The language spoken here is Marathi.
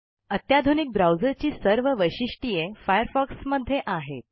अत्याधुनिक ब्राउजरची सर्व वैशिष्ट्ये फायरफॉक्स मध्ये आहेत